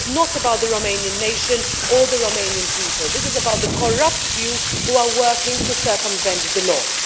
This is not about the Romanian nation or the Romanian people this is about the corrupt few who are working to circumvent the law.